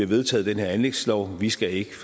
vedtaget den her anlægslov vi skal ikke